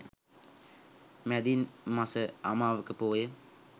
මැදින් මස අමාවක පෝය